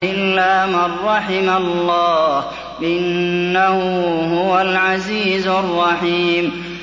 إِلَّا مَن رَّحِمَ اللَّهُ ۚ إِنَّهُ هُوَ الْعَزِيزُ الرَّحِيمُ